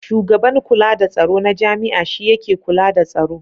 Shugaban kula da tsaro na jami'a shi yake kula da tsaro.